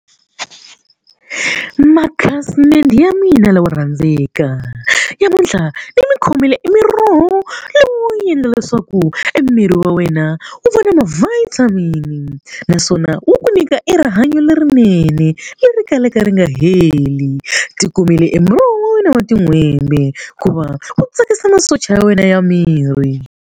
Makhasimende ya mina lawa yo rhandzeka namuntlha ni mi khomele i miroho lowo leswaku miri wa wena wu va na ma-vitamin naswona wu nyika e rihanyo lerinene leri kalaka ri nga heli ti kumile e muroho wa wena wa tin'hwembe hikuva wu tsakisa masocha ya wena ya miri.